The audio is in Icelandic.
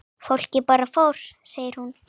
Fólkið bara fór segir hún.